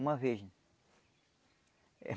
Uma vez.